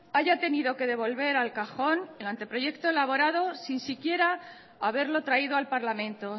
haya tenido que devolver al cajón el anteproyecto elaborado sin siquiera haberlo traído al parlamento